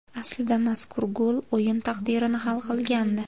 Aslida mazkur gol o‘yin taqdirini hal qilgandi.